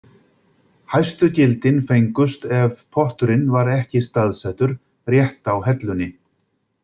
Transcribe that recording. Hæstu gildin fengust ef potturinn var ekki staðsettur rétt á hellunni.